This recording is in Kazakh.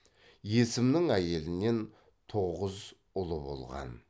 есімнің әйелінен тоғыз ұлы болған